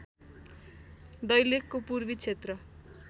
दैलेखको पूर्वी क्षेत्र